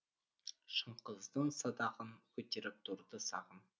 шынқыздың садағын көтеріп тұрды сағым